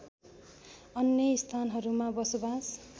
अन्य स्थानहरूमा बसोवास